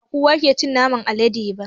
Bakowa ke cin naman alade ba